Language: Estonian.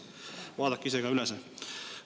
Vaadake siis ise ka see üle!